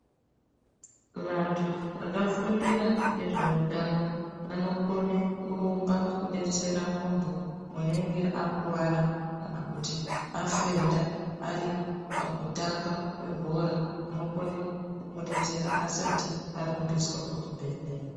Vantu vakafundira ngezveutano vanokone kurumba kudetsera munthu unenge akuwara kana kuti afenda ari pakutamba kwebhora vanokone kumudetsera asati arumbiswa kuchibhedhlera.